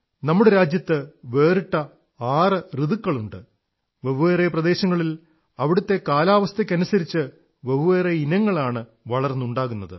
നമ്മുടെരാജ്യത്ത് വെറിട്ട ആറ് ഋതുക്കളുണ്ട് വെവ്വേറെ പ്രദേശങ്ങളിൽ അവിടത്തെ കാലാവസ്ഥയ്ക്കനുസരിച്ച് വെവ്വേറെ ഇനങ്ങളാണ് വളർന്നുണ്ടാകുന്നത്